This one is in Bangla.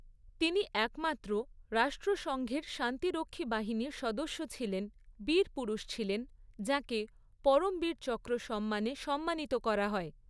তিনি একমাত্র রাষ্ট্রসঙ্ঘের শান্তিরক্ষী বাহিনীর সদস্য ছিলেন বীরপুরুষ ছিলেন যাঁকে 'পরমবীর চক্র' সম্মানে সম্মানিত করা হয়।